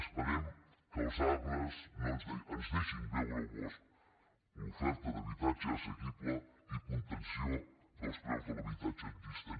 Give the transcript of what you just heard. esperem que els arbres ens deixin veure el bosc l’oferta d’habitatge assequible i contenció dels preus de l’habitatge existent